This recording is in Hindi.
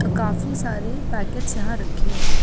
तो काफी सारे पैकेट्स यहाँ रक्खे हुए है।